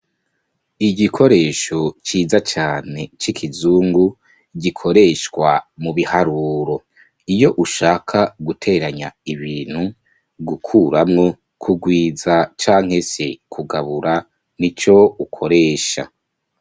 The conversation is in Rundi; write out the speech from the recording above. Igikoresho ciza cane c’ikizungu gikoreshwa mubiharuro ,iyo ushaka guteranya ibintu ,gukuramwo ,kugwiza canke se kugabura nico ukoresha.